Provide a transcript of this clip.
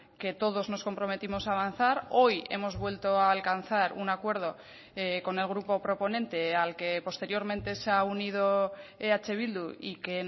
que todos nos comprometimos a avanzar hoy hemos vuelto a alcanzar un acuerdo con el grupo proponente al que posteriormente se ha unido eh bildu y que